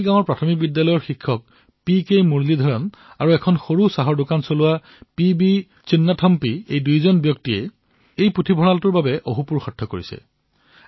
ইয়াৰ প্ৰাথমিক বিদ্যালয়ৰ শিক্ষক পি কে মুৰলীধৰণ আৰু সৰু চাহৰ দোকানৰ দোকানী পি বি চিন্নাথম্পী এওঁলোক দুয়োয়ে এই পুথিভঁৰালৰ বাবে অশেষ পৰিশ্ৰম কৰিছে